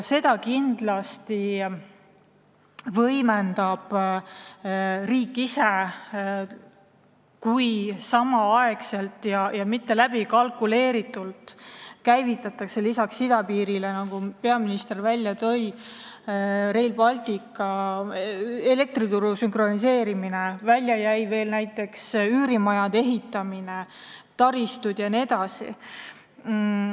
Seda võimendab kindlasti riik ise, kui samal ajal ja mitte läbikalkuleeritult käivitatakse lisaks idapiiri väljaehitamisele, nagu peaminister välja tõi, Rail Baltic ja elektrituru sünkroniseerimine, välja jäi veel näiteks üürimajade ehitamine, taristud jne.